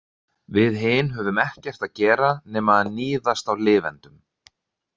Við hin höfum ekkert að gera nema að níðast á lifendum.